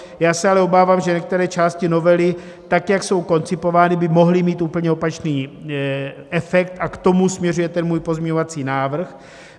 Já se ale obávám, že některé části novely tak, jak jsou koncipovány, by mohly mít úplně opačný efekt, a k tomu směřuje ten můj pozměňovací návrh.